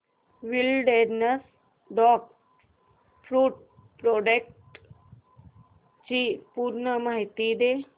wilderness dog food products ची पूर्ण माहिती दे